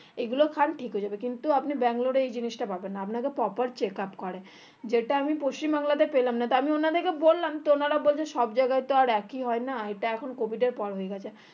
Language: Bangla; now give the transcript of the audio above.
এগুলো খান ঠিক হয়ে যাবে কিন্তু আপনি ব্যাঙ্গালোর এ এই জিনিষটা পাবেননা আপনাকে proper checkup করে যেটা আমি পশ্চিম বাংলাতে পেলাম না তা আমি ওনাদেরকে বললাম তো ওনারা বলছে সব জায়গায় তো আর একই হয়না এটা এখন COVID এর পর হয়ে গেছে